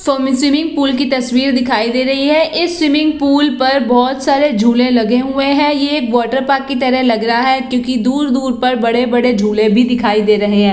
सो हमे स्विमिंग-पूल की तस्वीर दिखाई दे रही है। इस स्विमिंग-पूल पर बोहोत सारे झूले लगे हुए है। ये एक वाटरपार्क की तरह लग रहा है। क्युकी दूर-दूर पर बड़े-बड़े झूले भी दिखाई दे रहे है ।